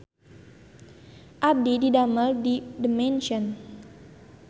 Abdi didamel di The Mansion